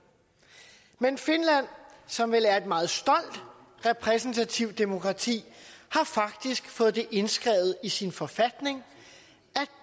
men finland som vel er et meget stolt repræsentativt demokrati har faktisk fået det indskrevet i sin forfatning